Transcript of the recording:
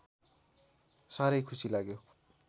साह्रै खुसी लाग्यो